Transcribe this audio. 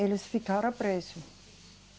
Eles ficaram presos.